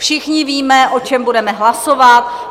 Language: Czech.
Všichni víme, o čem budeme hlasovat.